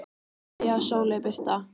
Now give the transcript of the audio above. Kveðja, Sóley Birta.